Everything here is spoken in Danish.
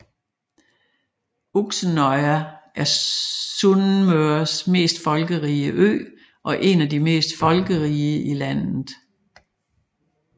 Uksenøya er Sunnmøres mest folkerige ø og en af de mest folkerige i landet